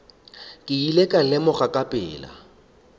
ile ka lemoga ka pela